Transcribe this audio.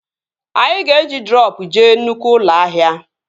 Anyị ga-eji droopụ jee nnụkwụ ụlọ ahịa